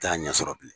T'a ɲɛ sɔrɔ bilen